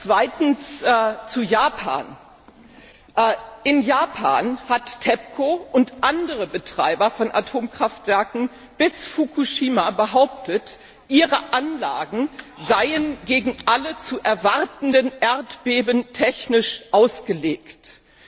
Zweitens zu Japan In Japan haben TEPCO und andere Betreiber von Atomkraftwerken bis Fukushima behauptet, ihre Anlagen seien gegen alle zu erwartenden Erdbeben technisch gewappnet.